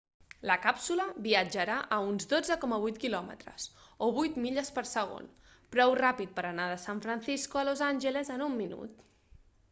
la càpsula viatjarà a uns 12.8 km o 8 milles per segon prou ràpid per anar de san francisco a los angeles en un minut